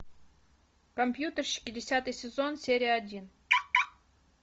компьютерщики десятый сезон серия один